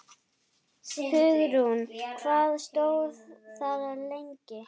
Hugrún: Hvað stóð það lengi?